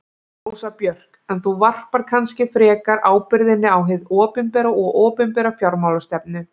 Rósa Björk: En þú varpar kannski frekar ábyrgðinni á hið opinbera og opinbera fjármálastefnu?